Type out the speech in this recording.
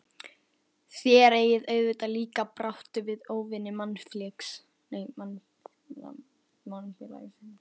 Þér eigið auðvitað líka í baráttu við óvini mannfélagsins?